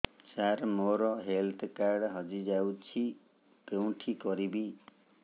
ସାର ମୋର health card ହଜି ଯାଇଛି କେଉଁଠି କରିବି